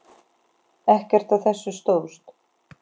Ekkert af þessu stóðst.